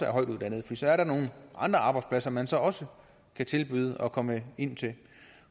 højtuddannede for så er der nogle andre arbejdspladser man så også kan tilbyde at komme ind til